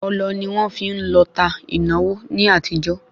Ọlọ ni wọ́n fi ń lọta ìnáwó ní àtijọ́